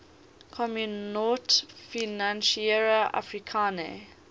communaute financiere africaine